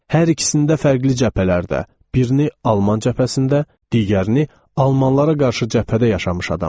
Hər ikisində fərqli cəbhələrdə birini Alman cəbhəsində, digərini Almanlara qarşı cəbhədə yaşamış adamam.